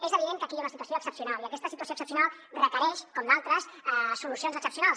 és evident que aquí hi ha una situació excepcional i aquesta situació excepcional requereix com d’altres solucions excepcionals